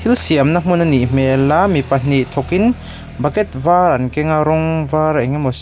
siamna hmun anih hmel a mi pahnih thawk in bucket var an keng a rawng var engemaw siam--